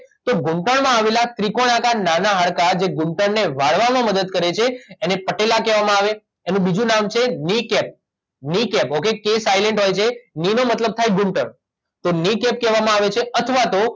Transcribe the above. તો ઘૂંંટણમાં આવેલા ત્રિકોણ આકાર નાના હાડકાં જે ઘૂંટણને વાળવામાં મદદ કરે છે એને પટેલા કહેવામાં આવે એનું બીજું નામ છે knee cap knee cap okay કે સાઇલેન્ટ હોય છે ક્ની નો મતલબ થાય ઘૂંટણ તો ક્ની કેપ કહેવામાં આવે છે અથવા તો